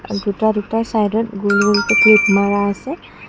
আৰু দুটা দুটা চাইদত গোল গোলকে ক্লিপ মাৰা আছে।